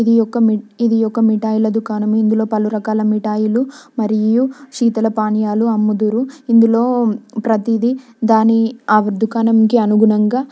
ఇది ఒక ఇది ఒక మిఠాయిల దుకాణం ఇందు లో పలు రకాల మిఠాయిలు మరియు శీతల పానీయాలు అమ్మదురు ఇందులో ప్రతి దీ దాని ఆ దుకాణంకి అనుగుణంగా--